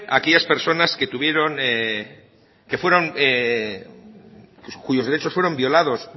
a aquellas personas que tuvieron que fueron cuyos derechos fueron violados